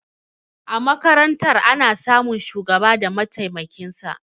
A makarantar ana samun shugaba da matemakinsa